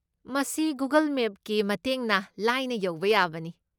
ꯃꯁꯤ ꯒꯨꯒꯜ ꯃꯦꯞꯀꯤ ꯃꯇꯦꯡꯅ ꯂꯥꯏꯅ ꯌꯧꯕ ꯌꯥꯕꯅꯤ꯫